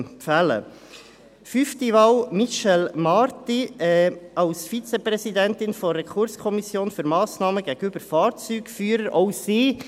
Die fünfte Wahl: Michèle Marti als Vizepräsidentin der Rekurskommission für Massnahmen gegenüber Fahrzeugführerinnen und Fahrzeugführern (RKMF).